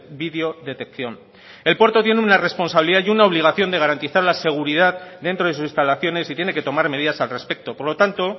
vídeo detección el puerto tiene una responsabilidad y una obligación de garantizar la seguridad dentro de sus instalaciones y tiene que tomar medidas al respecto por lo tanto